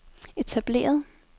etableret